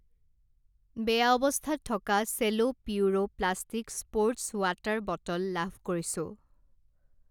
বেয়া অৱস্থাত থকা Cello Puro plastic sports water bottle লাভ কৰিছোঁ।